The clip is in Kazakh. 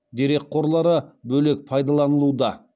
дерек қорлары бөлек пайдаланылуда